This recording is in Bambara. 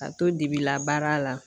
Ka to dibila baara la